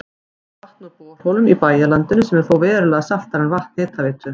Fær vatn úr borholum í bæjarlandinu sem er þó verulega saltara en vatn Hitaveitu